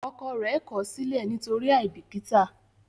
ọkọ rẹ kosile nitori aibikita.